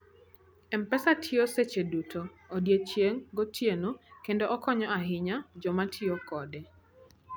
M-Pesa tiyo seche duto, odiechieng' gotieno, kendo okonyo ahinya joma tiyo kode.